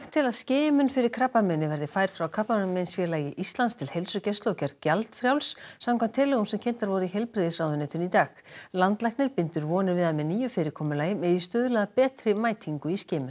til að skimun fyrir krabbameini verði færð frá Krabbameinsfélagi Íslands til heilsugæslu og gerð gjaldfrjáls samkvæmt tillögum sem kynntar voru í heilbrigðisráðuneytinu í dag landlæknir bindur vonir við að með nýju fyrirkomulagi megi stuðla að betri mætingu í skimun